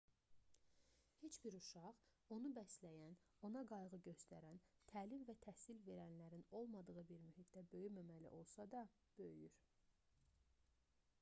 neç bir uşaq onu bəsləyən ona qayğı göstərən təlim və təhsil verənlərin olmadığı bir mühitdə böyüməməli olsa da böyüyür